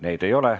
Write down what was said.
Neid ei ole.